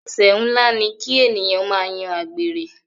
Ẹsẹ nlá ni ki ènìyàn máa yan àgbèrè.